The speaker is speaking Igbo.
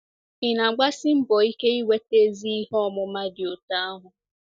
Ị̀ na-agbasi mbọ ike inweta ezi ihe ọmụma dị otú ahụ?